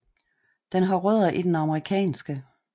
Den har rødder i den amerikanske